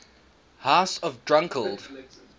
house of dunkeld